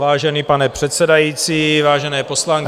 Vážený pane předsedající, vážené poslankyně...